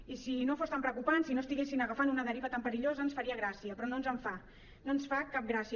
i si no fos tan preocupant si no estiguessin agafant una deriva tan perillosa ens faria gràcia però no ens en fa no ens fa cap gracia